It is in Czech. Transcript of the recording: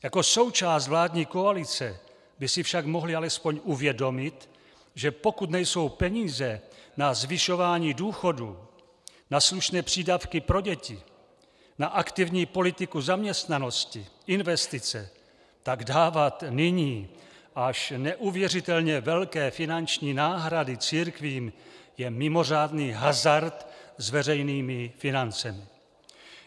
Jako součást vládní koalice by si však mohli alespoň uvědomit, že pokud nejsou peníze na zvyšování důchodů, na slušné přídavky pro děti, na aktivní politiku zaměstnanosti, investice, tak dávat nyní až neuvěřitelně velké finanční náhrady církvím je mimořádný hazard s veřejnými financemi!